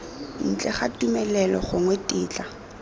ntle ga tumelelo gongwe tetla